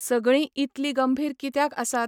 सगळीं इतली गंभीर कित्याक आसात?